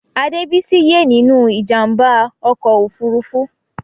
Adebisi ye nínú ìjàmbá ọkọ òfurufú.